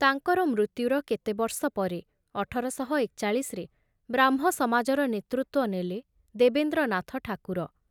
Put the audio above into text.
ତାଙ୍କର ମୃତ୍ୟୁର କେତେବର୍ଷ ପରେ ଅଠର ଶହ ଏକଚାଳିଶରେ ବ୍ରାହ୍ମ ସମାଜର ନେତୃତ୍ଵ ନେଲେ ଦେବେନ୍ଦ୍ରନାଥ ଠାକୁର ।